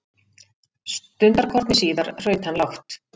Stundarkorni síðar hraut hann lágt.